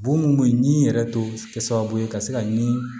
Bon mun bɛ ɲinɛn yɛrɛ to kɛ sababu ye ka se ka ni